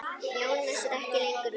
Jónas er ekki lengur við.